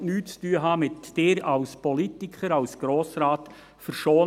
Ich will mit Ihnen als Politiker, mit Ihnen als Grossrat nichts zu tun haben.